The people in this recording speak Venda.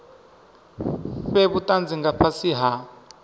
fhe vhutanzi nga fhasi ha